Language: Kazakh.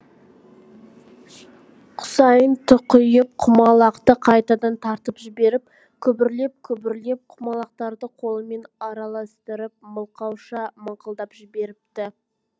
құсайын тұқиып құмалақты қайтадан тартып жіберіп күбірлеп күбірлеп құмалақтарды қолымен араластырып мылқауша мыңқылдап жіберіпті